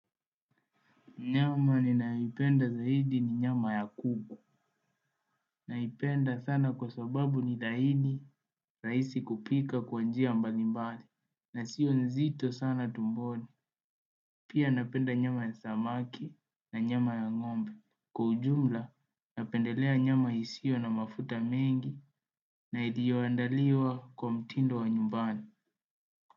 Nyama ni nayoipenda zaidi ni nyama ya kuku. Naipenda sana kwa sababu ni dhahidi rahisi kupika kwa njia mbalimbali. Na sio nzito sana tumboni. Pia napenda nyama ya samaki na nyama ya ng'ombe. Kwa ujumla napendelea nyama isio na mafuta mengi na iliyoandaliwa kwa mtindo wa nyumbani.